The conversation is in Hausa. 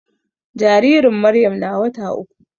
Jaririn Maryam na wata uku.